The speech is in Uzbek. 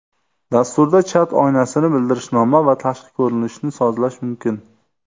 Dasturda chat oynasini, bildirishnoma va tashqi ko‘rinishni sozlash mumkin.